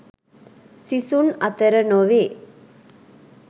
සිසුන් අතර නොවේ.